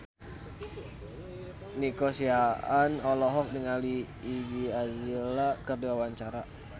Nico Siahaan olohok ningali Iggy Azalea keur diwawancara